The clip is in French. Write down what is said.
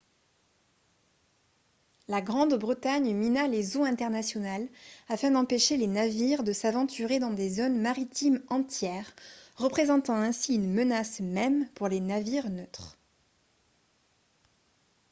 la grande-bretagne mina les eaux internationales afin d'empêcher les navires de s'aventurer dans des zones maritimes entières représentant ainsi une menace même pour les navires neutres